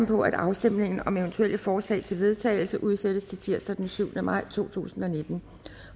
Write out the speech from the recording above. på at afstemning om eventuelle forslag til vedtagelse udsættes til tirsdag den syvende maj to tusind og nitten